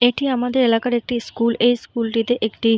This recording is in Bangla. এটি আমাদের এলাকার একটি স্কুল । এই স্কুলটিতে একটি --